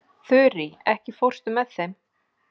Þurí, ekki fórstu með þeim?